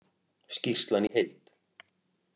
Skýrslan í heild